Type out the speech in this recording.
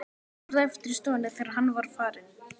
Ég varð eftir í stofunni, þegar hann var farinn.